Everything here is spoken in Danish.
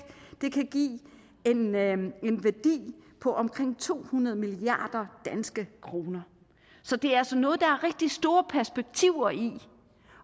kan give en værdi på omkring to hundrede milliard kroner så det er altså noget der er rigtig store perspektiver i